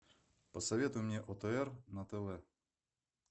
посоветуй мне отр на тв